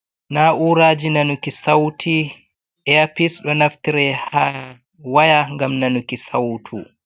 Na'uraji nanuki sauti earpis. Ɗo naftire ha waya ngam nanuki sautu.